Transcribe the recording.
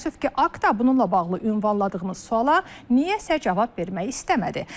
Təəssüf ki, Akta bununla bağlı ünvanladığımız suala niyəsə cavab vermək istəmədi.